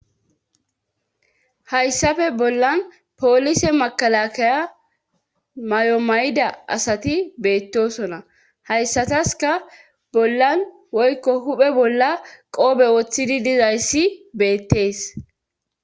Hayssafe bollan poolise makalakaya mayomayida asati beettosona hayssataska bollan woykko huphe bolla qoobe woththidi dizayssi beettees